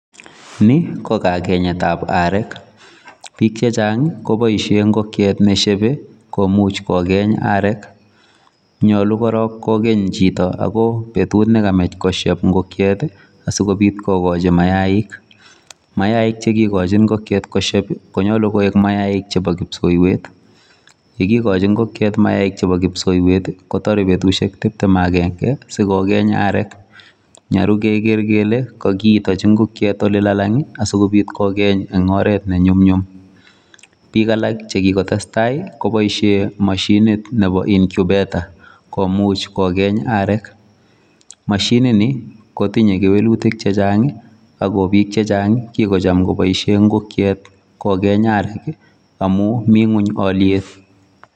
Ni kokagenyetab arek. Biik che chang koboisien ngokyit nesiebe komuch kogeny arek. Nyolu korong kogeny' chito ago betut nekamach kosieb ngokiet asikobit kogochi mayaik. Mayaik che kigochi ngokiet kosieb, koyoche ko mayaik chebo kipsoiywet. Ye kigochi ngokiet mayaik chebo kipsoiywet ii kotore betushek tibtem ak agenge asikogeny arek. Nyolu keger kole kogiitochi ngokiet ole lalang asikobit kogeny en oret ne nyumnyum. Biik alak che kigotestai koboishen moshinit nebo incubator komuch kogeny arek. Mashinini kotinye kewelutik chechang ago biik chechang kigocham koboishen ngokiet kogeny arek amun mi ng'weny olyet.